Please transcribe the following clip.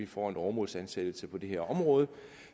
får en åremålsansættelse på det her område